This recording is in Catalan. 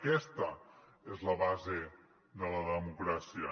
aquesta és la base de la democràcia